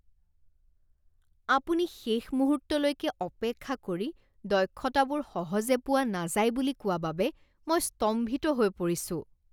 আপুনি শেষ মুহূৰ্তলৈকে অপেক্ষা কৰি দক্ষতাবোৰ সহজে পোৱা নাযায় বুলি কোৱা বাবে মই স্তম্ভিত হৈ পৰিছোঁ।